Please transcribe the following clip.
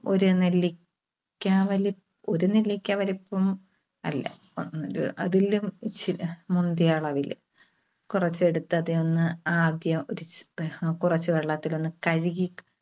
ഒരു നെല്ലി~ക്ക വലു ഒരു നെല്ലിക്ക വലുപ്പം അല്ല. അതിലും മുന്തിയ അളവില് കുറച്ചെടുത്ത് അതിൽനിന്ന് ആദ്യം കുറച്ച് വെള്ളത്തിൽ ഒന്ന് കഴുകി